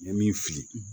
N ye min fili